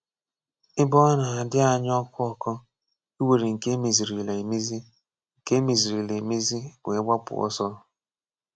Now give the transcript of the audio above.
Ébè ọ na-adí̄ anyị ọkụ́-òkù íwèrè nke emezìrìla emezi nke emezìrìla emezi wéé gbàpụ̀ ọ́sọ̀.